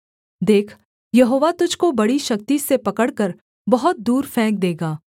देख यहोवा तुझको बड़ी शक्ति से पकड़कर बहुत दूर फेंक देगा